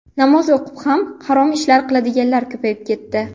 Namoz o‘qib ham harom ish qiladiganlar ko‘payib ketdi.